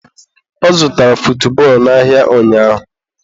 Ọ zụtara futbọọlụ n'ahịa ụnyaahụ.